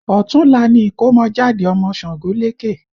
Ọ̀túnla ni ìkọ́mọjáde ọmọ Ṣàngólékè